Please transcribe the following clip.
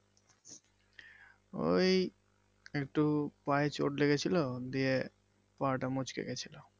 ওই একটু পায়ে ছোট লেগেছিলো দিয়ে পা টা মচকে গেছিলো।